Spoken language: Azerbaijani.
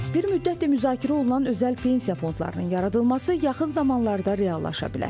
Bir müddətdir müzakirə olunan özəl pensiya fondlarının yaradılması yaxın zamanlarda reallaşa bilər.